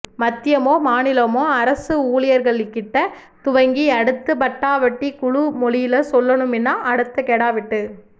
மத்தியமோ மாநிலமோ அரசு ஊழ்யர்கள்கிட்ட துவங்கி அடுத்து பட்டாபட்டி குழு மொழில சொல்லனுமின்னா அடுத்த கெடா வெட்டு